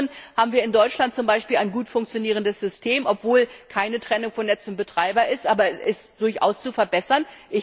Zum anderen haben wir in Deutschland zum Beispiel ein gut funktionierendes System, obwohl keine Trennung von Netz und Betreiber besteht, aber es ist durchaus zu verbessern.